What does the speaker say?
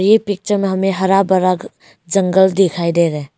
ये पिक्चर में हमें हरा भरा जंगल दिखाई दे रहा है।